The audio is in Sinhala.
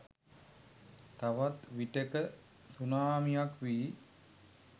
තවත් විටෙක සුනාමියක් වී